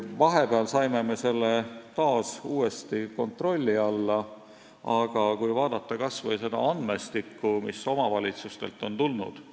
Vahepeal saime me selle uuesti kontrolli alla, aga vaatame kas või seda andmestikku, mis on omavalitsustelt tulnud.